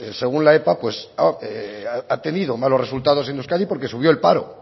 según la epa pues ha tenido malos resultados en euskadi porque subió el paro